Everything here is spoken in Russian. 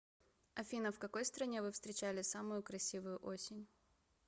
афина в какой стране вы встречали самую красивую осень